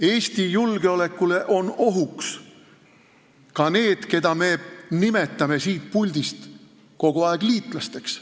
Eesti julgeolekule on ohuks ka need, keda me nimetame siin puldis kogu aeg liitlasteks.